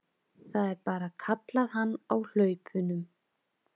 Það er bara, kallaði hann á hlaupunum.